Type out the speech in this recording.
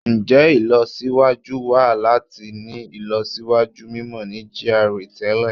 Njẹ ilọsiwaju wa lati ni ilọsiwaju mimọ ni GRA tẹlẹ?